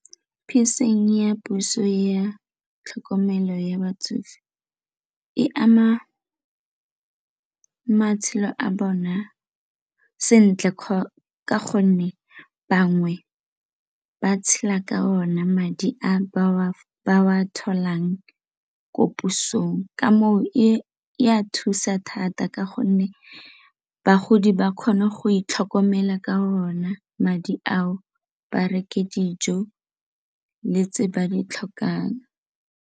ya puso ya tlhokomelo ya batsofe e ama matshelo a bona sentle ka gonne bangwe ba tshela ka ona madi a ba wa tholang ko posong ka moo e a thusa thata ka gonne bagodi ba kgone go itlhokomela ka ona madi ao ba reke dijo le tse ba di tlhokang.